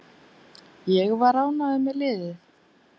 Ég var ánægður með liðið.